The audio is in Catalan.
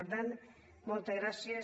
per tant moltes gràcies